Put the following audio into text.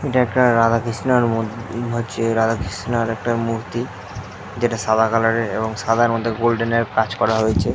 এটা একটা রাধা কৃষ্ণের মূর্তি হচ্ছে রাধা কৃষ্ণর একটা মূর্তি যেটা সাদা কালারের এবং সাদার মধ্যে গোল্ডেন এর কাজ করা হয়েছে ।